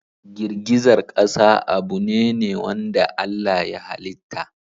Girgizar ƙasa abune ne wanda Allah ya halitta.